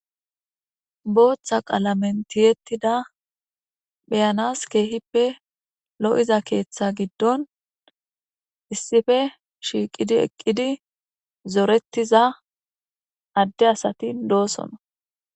booththa qalamen tiyettida beyanas keehippe lo'iza keeththa giddon issippe shiiqidi eqqidi zorettishe diza adde asatin doosonna